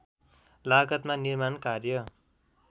लागतमा निर्माण कार्य